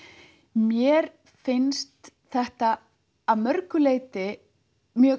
mér finnst þetta að mörgu leyti mjög